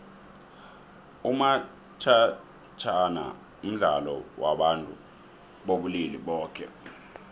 umathajhana mdlalo wabantu bobulili boke